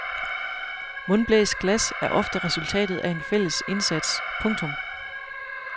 Mundblæst glas er ofte resultatet af en fælles indsats. punktum